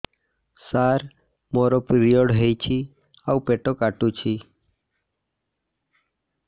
ସାର ମୋର ପିରିଅଡ଼ ହେଇଚି ଆଉ ପେଟ କାଟୁଛି